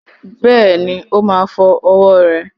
Bẹ́ẹ̀ni,o má fọ́ ọwọ́ rẹ̀